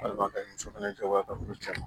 Walima ka muso fana cɛ bɔ a ka yɔrɔ caman